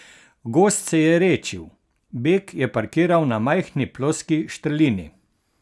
Gozd se je redčil, Beg je parkiral na majhni ploski štrlini.